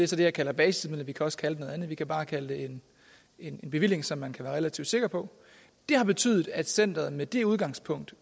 så det jeg kalder basismidler vi kan også kalde det noget andet vi kan bare kalde det en bevilling som man kan være relativt sikker på det har betydet at centeret med det udgangspunkt